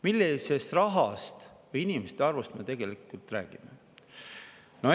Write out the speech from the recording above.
Millisest rahast ja inimeste arvust me tegelikult räägime?